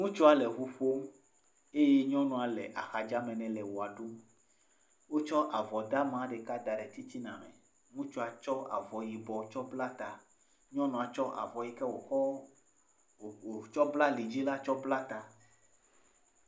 Ŋutsua le ŋu ƒom eye nyɔnua le axadame tsɔ avɔ ɖama ɖeka da ɖe titina. Ŋutsua kɔ avɔ yibƒ kɔ bla ta, nyɔnua tsɔ avɔ yike wokɔ bla ali dzi la kɔ bla ta.